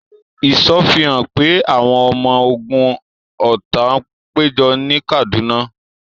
Ìṣọ́ fi hàn pé àwọn ọmọ ogun ọ̀tá ń péjọ ní Kaduna.